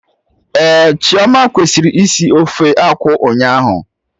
Ehhh, Chioma kwesịrị isi ofe akwụ ụnyaahụ